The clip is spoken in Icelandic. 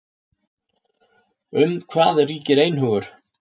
Um hvað ríkir einhugur?